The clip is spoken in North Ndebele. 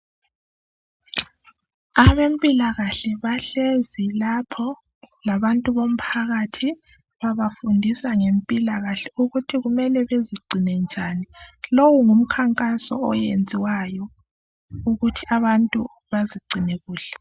Abemphilakahle bahlezi lapho labantu bomphakathi, babafundisa ngemphilakahle, ukuthi kumele bezigcine njani. Lowo ngumnkangaso owenziyo ukuthi abantu bazigcine kuhle.